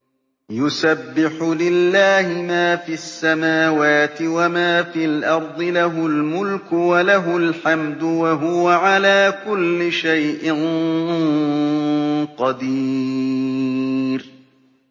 يُسَبِّحُ لِلَّهِ مَا فِي السَّمَاوَاتِ وَمَا فِي الْأَرْضِ ۖ لَهُ الْمُلْكُ وَلَهُ الْحَمْدُ ۖ وَهُوَ عَلَىٰ كُلِّ شَيْءٍ قَدِيرٌ